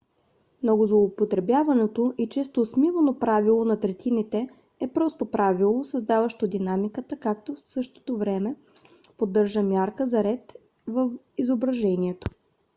много злоупотребяваното и често осмивано правило на третините е просто правило създаващо динамиката като в същото време поддържа мярка за ред в изображението